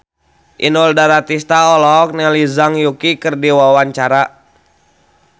Inul Daratista olohok ningali Zhang Yuqi keur diwawancara